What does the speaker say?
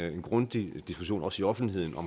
en grundig diskussion også i offentligheden af